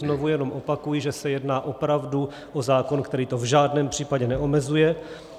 Znovu jenom opakuji, že se jedná opravdu o zákon, který to v žádném případě neomezuje.